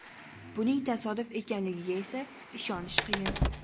Buning tasodif ekanligiga esa ishonish qiyin.